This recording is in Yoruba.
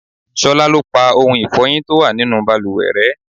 Ṣolá lo parí ohun ifọyin tó wà nínú bàlùwẹ̀ rẹ.